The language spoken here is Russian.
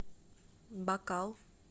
бакал